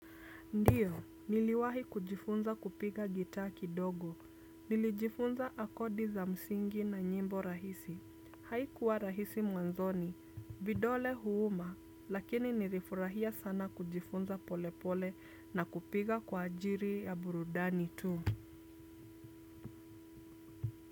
Ndiyo, niliwahi kujifunza kupiga gitaa ki dogo, nilijifunza akodi za msingi na nyimbo rahisi, haikuwa rahisi mwanzoni, vidole huuma, lakini nirifurahia sana kujifunza pole pole na kupiga kwa ajiri ya burudani tu.